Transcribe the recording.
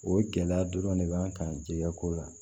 O gɛlɛya dɔrɔn de b'an kan jɛgɛko la